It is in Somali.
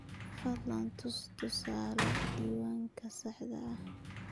Fadlan tus tusaale diiwaanka saxda ah.